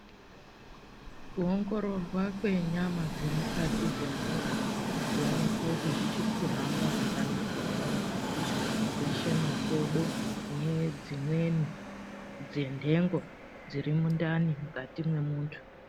Kuongororwa kwenyama dzemukati dzemuntu kuonekwa kuti zvichiri kuhamba zvakanaka here ngazi zveshe makodo nedzimweni dzendengo zviri mundani mukati memuntu.